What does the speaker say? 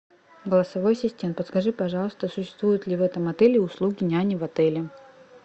голосовой ассистент подскажи пожалуйста существуют ли в этом отеле услуги няни в отеле